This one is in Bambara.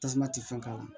Tasuma tɛ fɛn k'a la